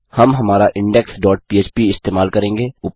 हम हमारा index dot पह्प इस्तेमाल करेंगे